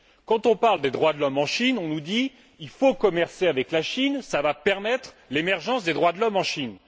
Quand on parle des droits de l'homme en Chine, on nous dit Il faut commercer avec la Chine, car cela va permettre l'émergence des droits de l'homme en Chine.